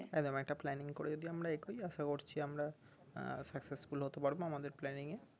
একদম একটা planning করে যদি আমরা এগোয় আসা করছি আমরা আহ success ফুল হতে পারবো আমাদের প্লানিং এ